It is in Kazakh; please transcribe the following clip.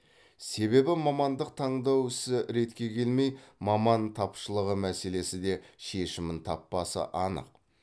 себебі мамандық таңдау ісі ретке келмей маман тапшылығы мәселесі де шешімін таппасы анық